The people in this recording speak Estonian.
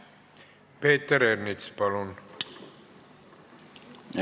Peeter Ernits, palun!